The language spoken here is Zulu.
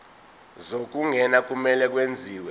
zokungena kumele kwenziwe